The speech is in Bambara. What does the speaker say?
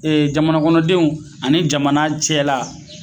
Ee jamana kɔnɔdenw ani jamana cɛ la